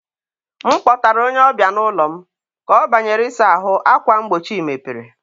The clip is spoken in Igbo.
m kpọtara onye ọbịa n'ụlọ m, ka ọ banyere ịsa ahụ, akwa mgbochi mepere.